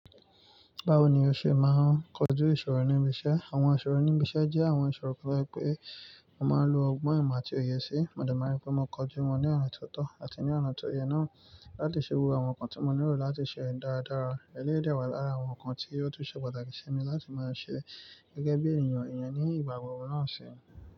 Báwo ni o ṣe máa ń kojú ìṣòro nibi isẹ̀? Àwọn ìṣòro nibi isẹ̀ jẹ́ àwọn ìṣòro kan to je wi pé mo máa ń lo ọgbọ́n ìmọ̀ àti òye sí. Mo dẹ̀ máa rí pé mo kojú wọn ní ọ̀nà tó tọ́ àti ní ọ̀nà tó yẹ náà láti ṣe wo àwọn nǹkan tí mo nílò láti ṣe dáadára, eléyìí dẹwà lára àwọn nǹkan tí ó tún ṣe pàtàkì sí mi láti máa ṣe gẹ́gẹ́ bí ènìyàn, ènìyàn ní ìgbà gbogbo náà ṣe.